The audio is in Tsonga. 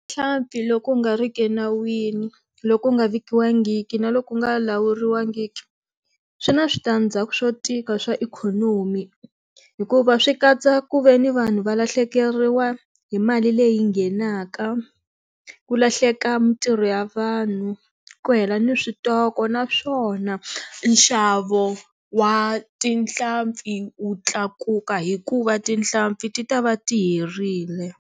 Nhlampfi loko nga ri ki enawini loko u nga vikiwangiki na loko u nga lawuriwangiki swi na switandzhaku swo tika swa ikhonomi hikuva swi katsa ku ve ni vanhu va lahlekeriwa hi mali leyi nghenaka ku lahleka mintirho ya vanhu ku hela ni switoko naswona nxavo wa tinhlampfi wu tlakuka hikuva tihlampfi ti ta va ti herile.